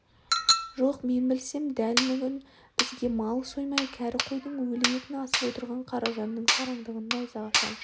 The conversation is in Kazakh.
жоқ мен білсем дәл бүгін бізге мал соймай кәрі қойдың өлі етін асып отырған қаражанның сараңдығын найзаға шаншып